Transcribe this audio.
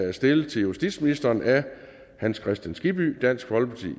er stillet til justitsministeren af hans kristian skibby dansk folkeparti